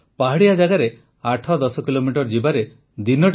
ପାହାଡ଼ିଆ ଜାଗାରେ ୮୧୦ କିଲୋମିଟର ଯିବାରେ ଦିନଟି ଚାଲିଯାଏ